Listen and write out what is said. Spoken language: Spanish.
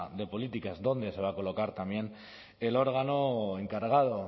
de políticas donde se va a colocar también el órgano encargado